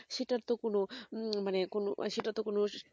সেটার তো কোনো মানে কোনো সেটার তো কোনো